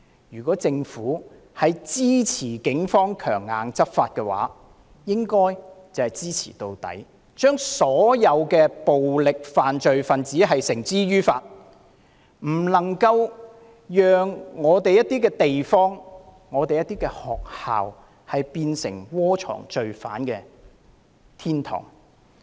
如政府支持警方強硬執法，便應支持到底，把所有暴力犯罪分子繩之於法，不能讓本港某些地方、學校淪為窩藏罪犯的天堂。